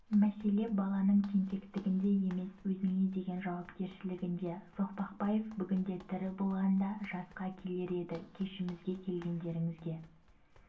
мәселе баланың тентектігінде емес өзіне деген жауапкершілігінде соқпақбаев бүгінде тірі болғанда жасқа келер еді кешімізге келгендеріңізге